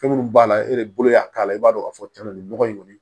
Fɛn minnu b'a la e de bolo y'a k'a la i b'a dɔn k'a fɔ cɛn na nin nɔgɔ in kɔni